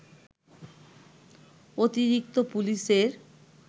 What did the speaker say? অতিরিক্ত পুলিশের